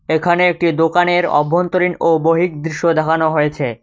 এখানে একটি দোকানের অভ্যন্তরীণ ও বহির দৃশ্য দেখানো হয়েছে।